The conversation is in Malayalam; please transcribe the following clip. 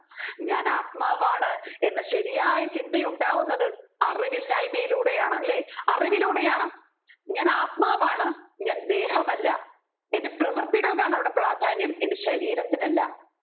ഞാൻ ആത്മാവാണ് എന്ന ശരിയായ ചിന്തയുണ്ടാകുന്നത് അറിവില്ലായ്മയിലൂടെയാണ് അല്ലെ അറിവിലൂടെയാണ് ഞാൻ ആത്മാവാണ് ഞാൻ ദേഹമല്ല എൻെറ പ്രവർത്തികൾക്കാണ് അവിടെ പ്രാധാന്യം എൻെറ ശരീരത്തിനല്ല